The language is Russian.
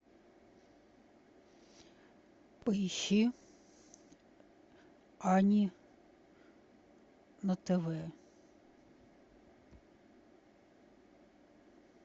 поищи ани на тв